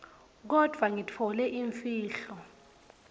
kodvwa ngitfole imfihlo